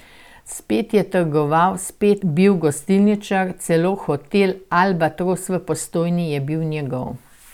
Spet je trgoval, spet bil gostilničar, celo hotel Albatros v Postojni je bil njegov.